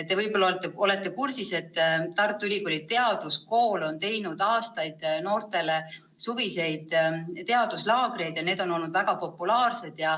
Te võib-olla olete kursis, et Tartu Ülikooli teaduskool on aastaid korraldanud noortele suviseid teaduslaagreid ja need on olnud väga populaarsed.